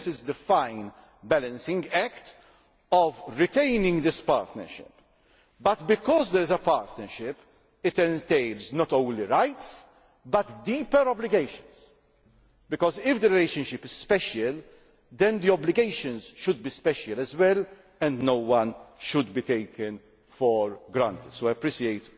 This is the fine balancing act of retaining this partnership but because there is a partnership, it entails not only rights but deeper obligations, because if the relationship is special then the obligations should be special as well, and no one should be taken for granted. I also appreciate